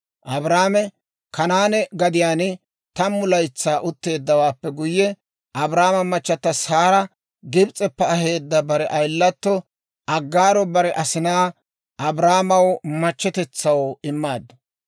Abraame Kanaane gadiyaan tammu laytsaa utteeddawaappe guyye, Abraamo machata Saara Gibis'eppe aheedda bare ayilatto Aggaaro, bare asinaa Abraamaw machchetetsaw immaaddu.